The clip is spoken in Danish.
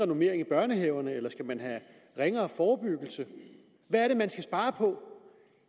normering i børnehaverne eller skal man have ringere forebyggelse hvad er det man skal spare på